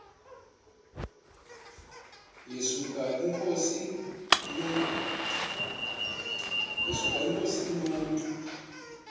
yesuka inkosi inomntu